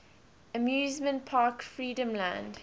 amusement park freedomland